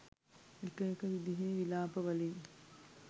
එක එක විදිහේ විලාප වලින්